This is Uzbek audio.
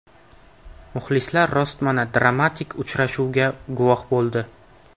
Muxlislar rostmana dramatik uchrashuvga guvoh bo‘ldi.